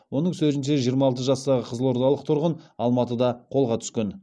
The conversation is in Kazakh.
оның сөзінше жиырма алты жастағы қызылордалық тұрғын алматыда қолға түскен